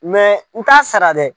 n t'a sara dɛ.